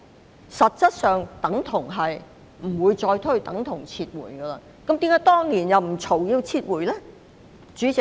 這實質上表示不會重推，等同撤回，但為何當年又沒有人要求撤回呢？